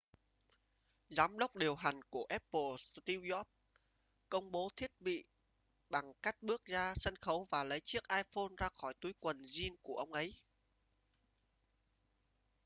giám đốc điều hành của apple steve jobs công bố thiết bị bằng cách bước ra sân khấu và lấy chiếc iphone ra khỏi túi quần jean của ông ấy